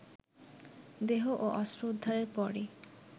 দেহ ও অস্ত্র উদ্ধারের পরই